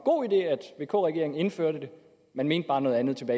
god idé at vk regeringen indførte man mente bare noget andet